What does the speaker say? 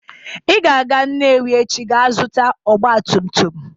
Ị ga-aga Nnewi echi ga azụta ọgba tum tum!